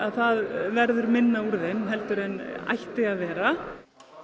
það verður minna úr gjöfunum heldur en ætti að vera